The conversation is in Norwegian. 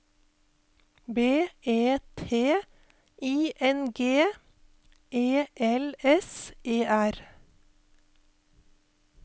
B E T I N G E L S E R